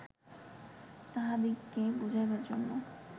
তাঁহাদিগকে বুঝাইবার জন্য